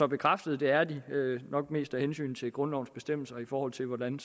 bekræftet at det er det nok mest af hensyn til grundlovens bestemmelser i forhold til hvordan